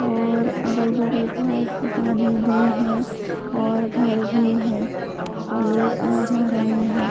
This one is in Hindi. और अगल-बगल बोहोत दुकानें भी हैं और घर भी है और लोग आ जा रहे हैं।